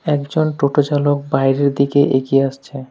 একজন টোটো চালক বাইরের দিকে এগিয়ে আসছে।